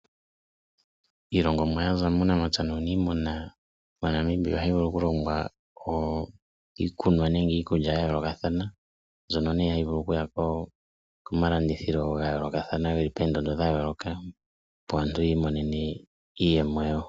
Iilongomwa ya za muunamapya nuuniimuna mo Namibia ohayi vulu okulongwa iikunwa nenge iikulya ya yoolokathana ,mbyono nee hayi vulu okuya gomalandithilo ga yoolokathana geli poondondo dha yooloka ,opo aantu yi imonene iiyemo yawo.